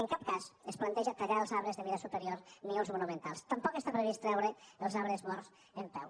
en cap cas es planteja tallar els arbres de mida superior ni els monumentals tampoc està previst treure els arbres morts en peu